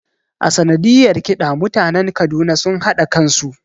A sanadiyar ƙida mutanen Kaduna sun hada kansu